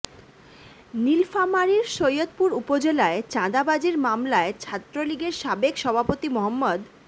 নীলফামারীর সৈয়দপুর উপজেলায় চাঁদাবাজির মামলায় ছাত্রলীগের সাবেক সভাপতি মো